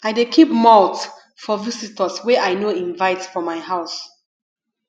i dey keep malt for visitors wey i no invite for my house